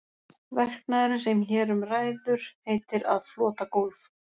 Verknaðurinn sem hér um ræður heitir að flota gólf.